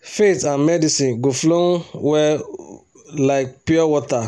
faith and medicine go flow um well like pure um water.